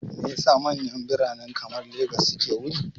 Me yasa manyan birane kamar Lagos suke wari?